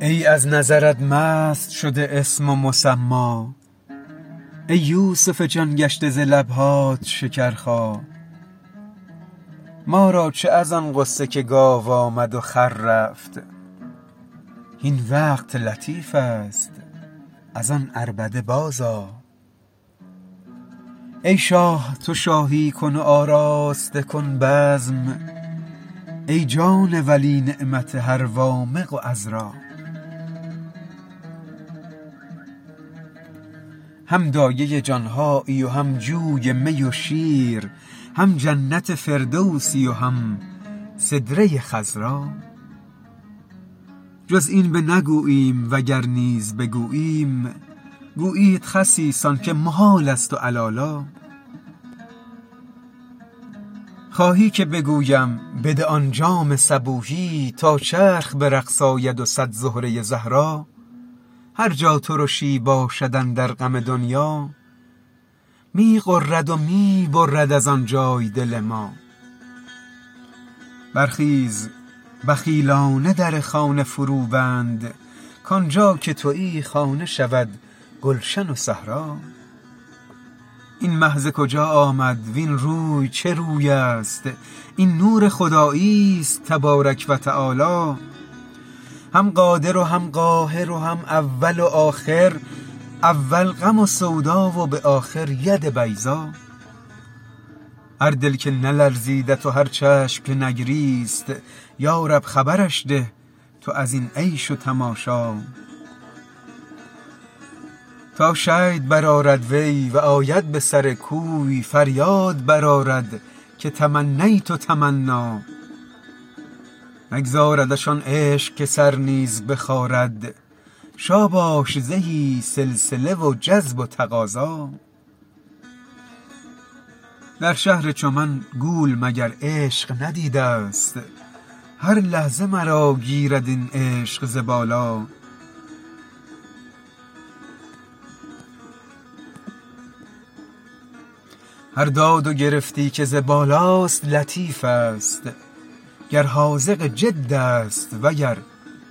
ای از نظرت مست شده اسم و مسما ای یوسف جان گشته ز لب هات شکرخا ما را چه از آن قصه که گاو آمد و خر رفت هین وقت لطیف است از آن عربده بازآ ای شاه تو شاهی کن و آراسته کن بزم ای جان ولی نعمت هر وامق و عذرا هم دایه جان هایی و هم جوی می و شیر هم جنت فردوسی و هم سدره خضرا جز این بنگوییم وگر نیز بگوییم گویند خسیسان که محالست و علالا خواهی که بگویم بده آن جام صبوحی تا چرخ به رقص آید و صد زهره زهرا هر جا ترشی باشد اندر غم دنیا می غرد و می برد از آن جای دل ما برخیز بخیلا نه در خانه فروبند کان جا که توی خانه شود گلشن و صحرا این مه ز کجا آمد وین روی چه روی است این نور خداییست تبارک و تعالی هم قادر و هم قاهر و هم اول و آخر اول غم و سودا و به آخر ید بیضا هر دل که نلرزیدت و هر چشم که نگریست یا رب خبرش ده تو از این عیش و تماشا تا شید برآرد وی و آید به سر کوی فریاد برآرد که تمنیت تمنا نگذاردش آن عشق که سر نیز بخارد شاباش زهی سلسله و جذب و تقاضا در شهر چو من گول مگر عشق ندیده ست هر لحظه مرا گیرد این عشق ز بالا هر داد و گرفتی که ز بالاست لطیفست گر حاذق جد است وگر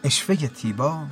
عشوه تیبا